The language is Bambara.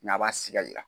a b'a siga